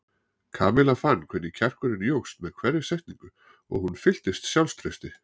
Kamilla fann hvernig kjarkurinn jókst með hverri setningu og hún fylltist sjálfstrausti.